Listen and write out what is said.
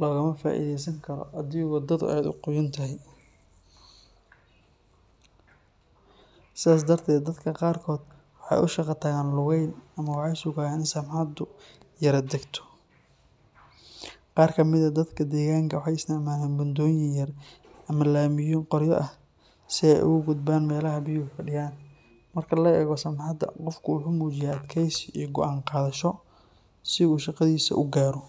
loogama faa’iideysan karo haddii waddadu aad u qoyan tahay, sidaas darteed dadka qaarkood waxay u shaqo tagaan lugeyn ama waxay sugaan in samxadu yara degto. Qaar ka mid ah dadka deegaanka waxay isticmaalaan buundooyin yaryar ama laamiyo qoryo ah si ay ugu gudbaan meelaha biyuhu fadhiyaan. Marka la eego samxada, qofku wuxuu muujiyaa adkaysi iyo go’aan qaadasho si uu shaqadiisa u gaaro.